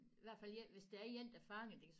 I hvert fald én hvis det er én der fanger det kan